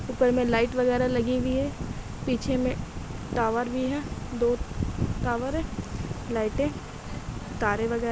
ऊपर में लाइट वगैरह लगी वी हैं। पीछे में टावर भी हैं दो टावर हैं लाइटे तारे वगैर --